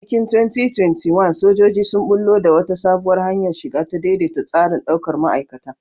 A cikin 2021, sojoji sun ɓullo da wata sabuwar hanyar shiga, ta daidaita tsarin daukar ma'aikata.